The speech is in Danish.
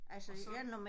Og så